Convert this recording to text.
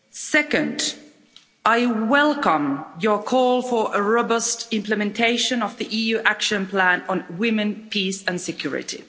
Second, I welcome your call for robust implementation of the EU Action Plan on Women, Peace and Security.